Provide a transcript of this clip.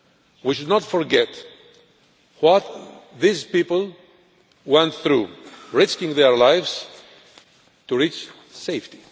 We should not forget what these people went through, risking their lives to reach safety.